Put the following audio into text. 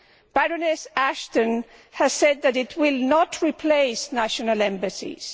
Baroness Ashton has said that it will not replace national embassies.